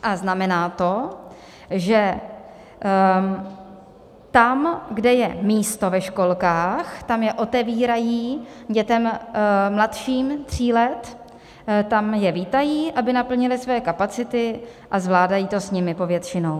A znamená to, že tam, kde je místo ve školkách, tam je otevírají dětem mladším tří let, tam je vítají, aby naplnili své kapacity, a zvládají to s nimi povětšinou.